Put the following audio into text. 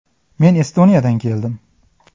Men Estoniyadan keldim.